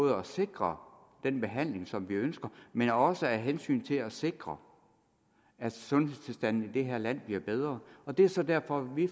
at sikre den behandling som vi ønsker men også af hensyn til at sikre at sundhedstilstanden i det her land bliver bedre og det er så derfor vi